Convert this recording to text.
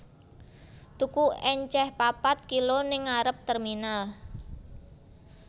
Tuku enceh papat kilo ning ngarep terminal